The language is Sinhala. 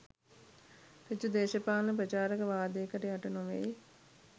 සෘජු දේශපාලන ප්‍රචාරක වාදයකට යට නොවෙයි.